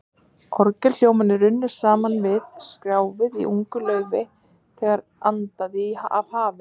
Orgelhljómarnir runnu saman við skrjáfið í ungu laufi, þegar andaði af hafi.